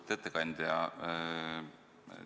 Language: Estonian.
Lugupeetud ettekandja!